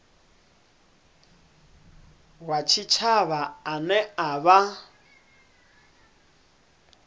wa tshitshavha ane a vha